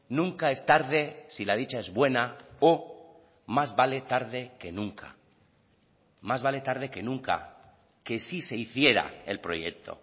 nunca es tarde si la dicha es buena o más vale tarde que nunca más vale tarde que nunca que sí se hiciera el proyecto